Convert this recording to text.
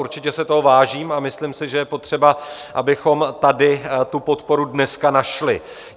Určitě si toho vážím a myslím si, že je potřeba, abychom tady tu podporu dneska našli.